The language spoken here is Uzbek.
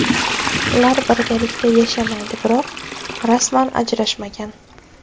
Ular birgalikda yashamaydi, biroq rasman ajrashmagan.